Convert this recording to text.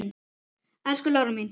Elsku Lára mín.